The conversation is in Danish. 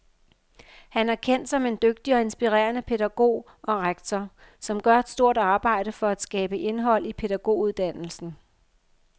Han er kendt som en dygtig og inspirerende pædagog og rektor, som gør et stort arbejde for at skabe indhold i pædagoguddannelsen.